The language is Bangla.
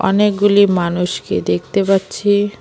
অনেকগুলি মানুষকে দেখতে পাচ্ছি।